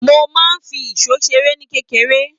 Mo máa ń fi isó seré ní kékeré.